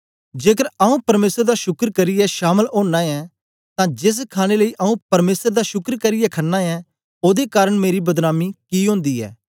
जेकर आऊँ परमेसर दा शुक्र करियै शामल ओना ऐं तां जेस खाणे लेई आऊँ परमेसर दा शुक्र करियै खनां ऐं ओदे कारन मेरी बदनामी कि ओंदी ऐ